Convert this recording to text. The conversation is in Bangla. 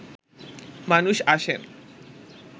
মানুষ আসেন